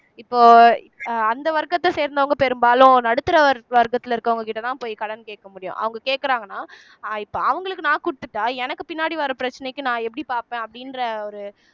இப்போ அந்த வர்க்கத்தை சேர்ந்தவங்க பெரும்பாலும் நடுத்தர வர் வர்க்கத்திலே இருக்கிறவங்ககிட்டேதான் போய் கடன் கேட்க முடியும் அவங்க கேக்குறாங்கன்னா அஹ் இப்போ அவங்களுக்கு நான் கொடுத்துட்டா எனக்கு பின்னாடி வர பிரச்சனைக்கு நான் எப்படி பார்ப்பேன் அப்படின்ற ஒரு